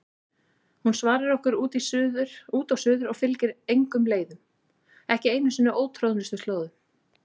Hún svarar okkur út og suður og fylgir engum leiðum, ekki einu sinni ótroðnustu slóðum.